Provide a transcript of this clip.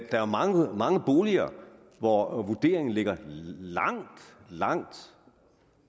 er mange mange boliger hvor vurderingen ligger langt langt